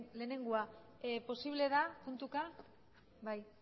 lehenengoa posible da puntuka bai